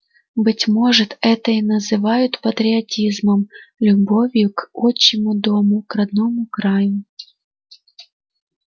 быть может это и называют патриотизмом любовью к отчему дому к родному краю